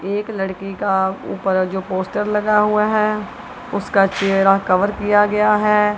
एक लड़के का ऊपर जो पोस्टर लगा हुआ है उसका चेहरा कवर किया गया है।